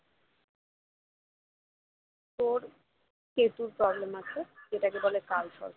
তোর কেতুর problem আছে যেটাকে বলে কালসর্প দোষ